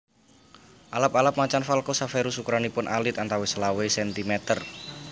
Alap alap Macan Falco severus ukuranipun alit antawis selawe sentimeter